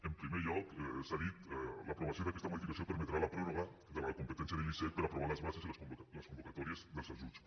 en primer lloc s’ha dit l’aprovació d’aquesta modificació permetrà la pròrroga de la competència de l’icec per aprovar les bases i les convocatòries dels ajuts